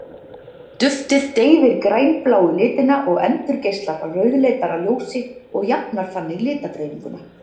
Duftið deyfir grænbláu litina og endurgeislar rauðleitara ljósi og jafnar þannig litadreifinguna.